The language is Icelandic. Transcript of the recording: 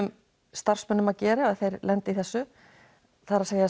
starfsmönnum að gera ef þeir lenda í þessu það er